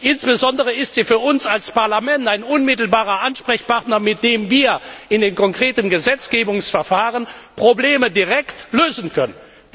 Insbesondere ist sie für uns als Parlament ein unmittelbarer Ansprechpartner, mit dem wir in den konkreten Gesetzgebungsverfahren Probleme direkt lösen können.